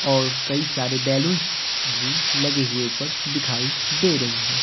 और कई सारे बैलूंस भी लगे हुए ऊपर दिखाई दे रही है।